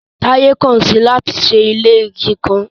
Taye kan si i lati ṣe ile igi kan